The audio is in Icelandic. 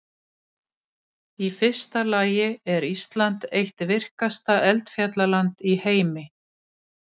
Í fyrsta lagi er Ísland eitt virkasta eldfjallaland í heimi.